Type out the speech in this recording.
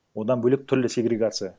одан бөлек түрлі сегрегация